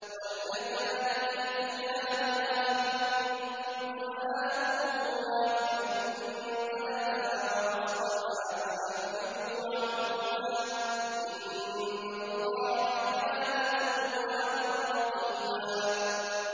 وَاللَّذَانِ يَأْتِيَانِهَا مِنكُمْ فَآذُوهُمَا ۖ فَإِن تَابَا وَأَصْلَحَا فَأَعْرِضُوا عَنْهُمَا ۗ إِنَّ اللَّهَ كَانَ تَوَّابًا رَّحِيمًا